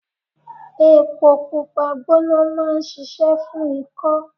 Epo Pupa gbona máa ń ṣíṣe fún ikọ.